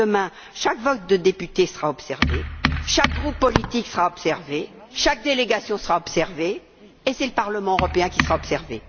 Demain, chaque vote de député sera observé, chaque groupe politique sera observé, chaque délégation sera observée et c'est le Parlement européen qui sera observé.